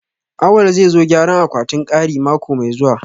Awal zai zo gyara akwatin kari mako mai zuwa